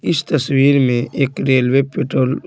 इस तस्वीर में एक रेलवे पेट्रोल --